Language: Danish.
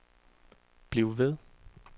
bliv ved